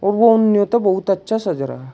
और तो बहुत अच्छा सज रहा है।